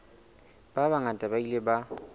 ba bangata ba ile ba